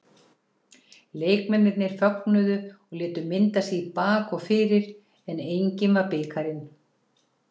Leikmennirnir fögnuðu og létu mynda sig í bak og fyrir en enginn var bikarinn.